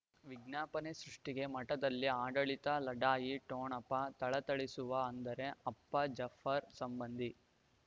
ವಿಜ್ಞಾಪನೆ ಸೃಷ್ಟಿಗೆ ಮಠದಲ್ಲಿ ಆಡಳಿತ ಲಢಾಯಿ ಠೊಣಪ ಥಳಥಳಿಸುವ ಅಂದರೆ ಅಪ್ಪ ಜಫರ್ ಸಂಬಂಧಿ